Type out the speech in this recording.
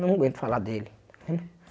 Não aguento falar dele.